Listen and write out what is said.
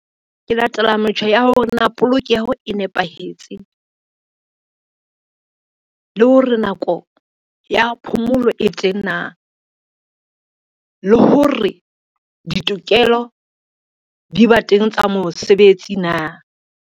Ke latela metjha ya hore na polokeho e nepahetse. Le hore nako ya phomolo e teng na, le hore ditokelo di ba teng tsa mosebetsi na.